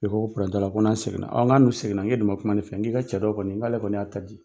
I ko ko t'ala ko n'an segin na n k'a dun segin na n k'e dun man kuma ne fɛ n k'i ka cɛ dɔ kɔni n k'ale kɔni y'a ta di.